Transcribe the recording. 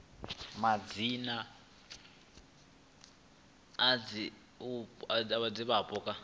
a madzina a divhavhupo kha